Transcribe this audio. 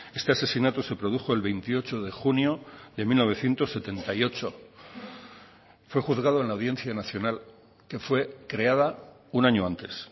este asesinato se produjo el veintiocho de junio de mil novecientos setenta y ocho fue juzgado en la audiencia nacional que fue creada un año antes